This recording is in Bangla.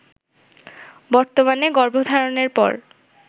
বর্তমানে গর্ভধারণের পর